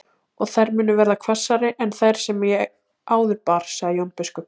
Og þær munu verða hvassari en þær sem ég áður bar, sagði Jón biskup.